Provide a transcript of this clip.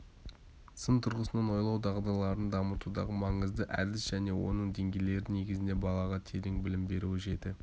сын тұрғысынан ойлау дағдыларын дамытудағы маңызды әдіс және оның деңгейлері негізінде балаға терең білім беріледі жеті